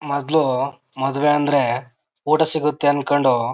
ಮೊದಲು ಮದುವೆ ಅಂದ್ರೆ ಊಟ ಸಿಗುತ್ತೆ ಅನ್ಕೊಂಡು.